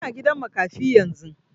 Ina gidan makafi yanzu